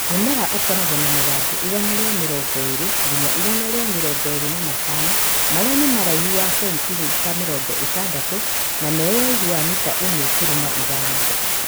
Mũmera ũkoragwo na mathangũ igana rĩa mĩrongo ĩri nginya igana rĩa mĩrongo ĩri na matano maĩa nĩ maũraiu wa centimita mĩrongo ĩtandatu na meũraihuinĩ wa mita Ĩmwe turuma ithano.